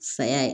Saya ye